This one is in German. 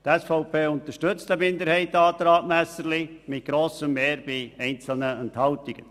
Die SVP-Fraktion unterstützt diesen Minderheitsantrag mit grosser Mehrheit bei einzelnen Enthaltungen.